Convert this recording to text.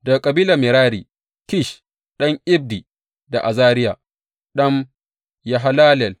Daga Kabilar Merari, Kish ɗan Abdi da Azariya ɗan Yahallelel.